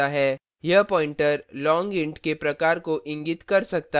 यह pointer long int के प्रकार को इंगित कर सकता है